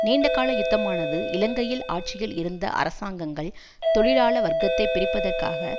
நீண்டகால யுத்தமானது இலங்கையில் ஆட்சியில் இருந்த அரசாங்கங்கள் தொழிலாள வர்க்கத்தை பிரிப்பதற்காக